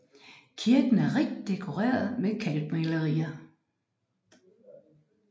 Kirken er rigt dekoreret med kalkmalerier